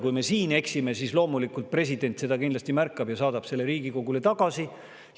Kui me siin eksime, siis loomulikult president seda kindlasti märkab ja saadab selle Riigikogule tagasi.